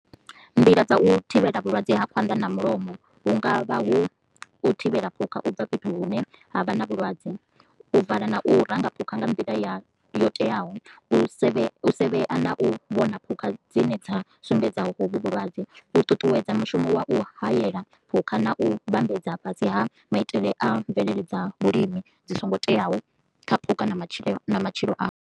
Nḓila dza u thivhela vhulwadze ha khwanḓa na mulomo hu ngavha hu thivhela phukha u bva fhethu hune ha vha na vhulwadze, u vala na u ranga phukha nga nḓila ya yo teaho, u sevhea na u vhona phukha dzi ne dza sumbedza hovhu vhulwadze, u ṱuṱuwedza mushumo wa u hayela phukha na u vhambedza fhasi ha maitele a mvelele dza vhulimi dzi songo teaho kha phukha na matshilo na matshilo a.